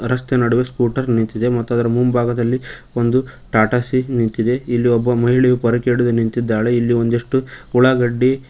ರಸ್ತೆ ನಡುವೆ ಸ್ಖೂಟರ್ ನಿಂತಿದೆ ಮತ್ತು ಅದರ ಮುಂಭಾಗದಲ್ಲಿ ಒಂದು ಟಾಟಾ ಸೀ ನಿಂತಿದೆ ಇಲ್ಲಿ ಒಬ್ಬ ಮಹಿಳೆಯು ಪೊರಕೆ ಹಿಡಿದು ನಿಂತಿದ್ದಾಳೆ ಇಲ್ಲಿ ಒಂದಿಷ್ಟು ಉಳ್ಳಾಗಡ್ಡಿ--